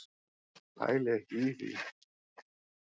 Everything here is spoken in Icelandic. Pæli ekki í því.